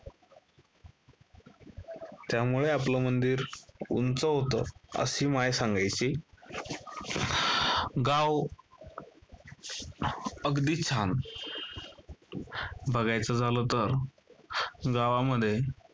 त्यामुळे आपलं मंदिर उंच होतं अशी माय सांगायची. गाव अगदी छान . बघायचं झालं तर गावामध्ये